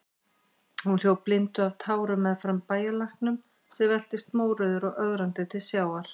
Hún hljóp blinduð af tárum meðfram bæjarlæknum, sem veltist mórauður og ögrandi til sjávar.